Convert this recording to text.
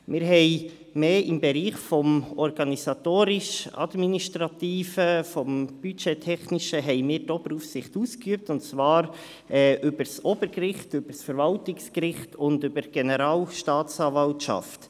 Wir haben die Oberaufsicht mehr im Bereich des Organisatorisch-administrativen und des Budgettechnischen ausgeübt, und zwar über das Obergericht, das Verwaltungsgericht und über die Generalstaatsanwaltschaft.